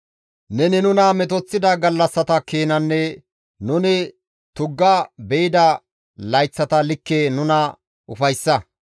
Neni nuna metoththida gallassata keenanne nuni tugga be7ida layththata likke nuna ufayssa.